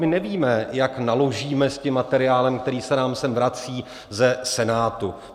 My nevíme, jak naložíme s tím materiálem, který se nám sem vrací ze Senátu.